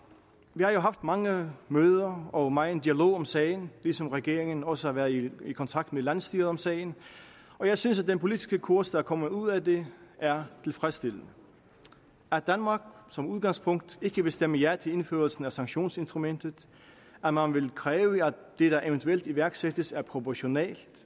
vi har jo haft mange møder og megen dialog om sagen ligesom regeringen også har været i i kontakt med landsstyret om sagen og jeg synes at den politiske kurs der er kommet ud af det er tilfredsstillende at danmark som udgangspunkt ikke vil stemme ja til indførelsen af sanktionsinstrumentet at man vil kræve at det der eventuelt iværksættes er proportionalt